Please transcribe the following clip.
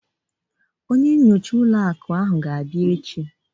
Ọditọ ụlọ akụ ahụ ga-abịa echi